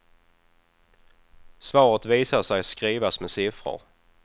Svaret visade sig skrivas med siffror.